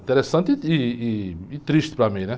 Interessante ih, ih, e triste para mim, né?